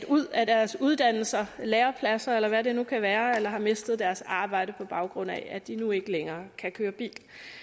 ud af deres uddannelser eller lærepladser eller hvad det nu kan være eller har mistet deres arbejde på baggrund af at de nu ikke længere kan køre bil